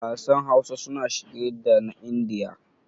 Wasan Hausa suna shige da na Indiya.